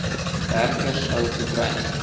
werker sou gekry